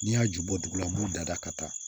N'i y'a ju bɔ dugu la n b'u da da ka taa